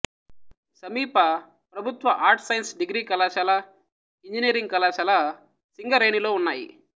సమీప ప్రభుత్వ arts science degree కళాశాల ఇంజనీరింగ్ కళాశాల సింగరేణిలో ఉన్నాయి